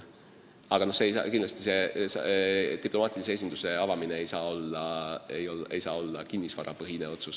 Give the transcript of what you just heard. Samas ei saa diplomaatilise esinduse avamine olla kinnisvarapõhine otsus.